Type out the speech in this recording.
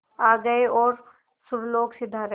आ गए और सुरलोक सिधारे